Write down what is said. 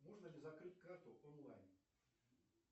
можно ли закрыть карту онлайн